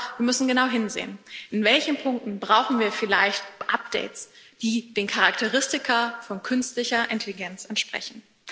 Aber wir müssen genau hinsehen In welchen Punkten brauchen wir vielleicht Updates, die den Charakteristika von künstlicher Intelligenz entsprechen?